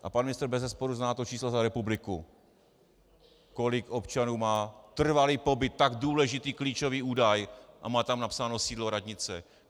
A pan ministr bezesporu zná to číslo za republiku, kolik občanů má trvalý pobyt, tak důležitý klíčový údaj, a má tam napsáno sídlo radnice.